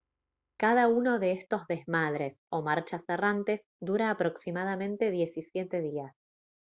cada uno de estos desmadres o marchas errantes dura aproximadamente 17 días